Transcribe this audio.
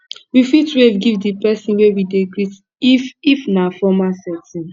we fit wave give di person wey we dey greet if if na formal setting